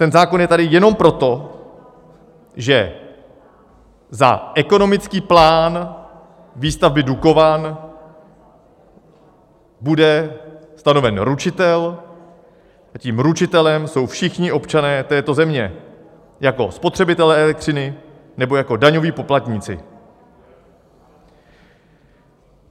Ten zákon je tady jenom proto, že za ekonomický plán výstavby Dukovan bude stanoven ručitel, a tím ručitelem jsou všichni občané této země jako spotřebitelé elektřiny nebo jako daňoví poplatníci.